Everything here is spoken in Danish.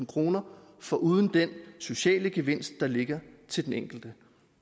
kroner foruden den sociale gevinst der ligger til den enkelte